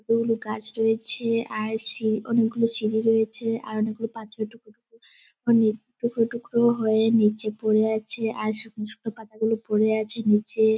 গুলো গাছ রয়েছে আর সি-- অনেকগুলো সিঁড়ি রয়েছে আর অনেকগুলো পাথরের টুকরো টুকরো অনেক টুকরো টুকরো হয়ে নিচে পড়ে আছে আর শুকনো শুকনো পাতাগুলো পড়ে আছে নিচে।